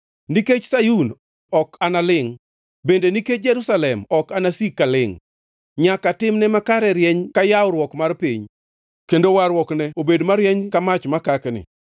Nikech Sayun ok analingʼ, bende nikech Jerusalem ok anasik kalingʼ, nyaka timne makare rieny ka yawruok mar piny, kendo warruokne obed marieny ka mach makakni.